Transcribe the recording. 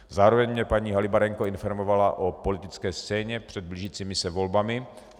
Zároveň mě paní Halibarenko informovala o politické scéně před blížícími se volbami.